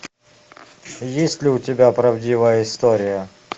есть ли у тебя правдивая история